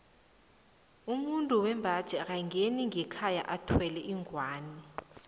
umuntu wembaji akangeni ngekhaya athwele ingwani